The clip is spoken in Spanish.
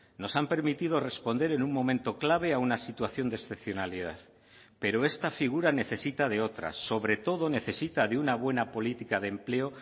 nos han permitido responder en un momento clave a una situación de excepcionalidad pero esta figura necesita de otras sobre todo necesita de una buena política de empleo